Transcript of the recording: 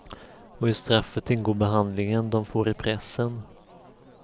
Och i straffet ingår behandlingen de får i pressen.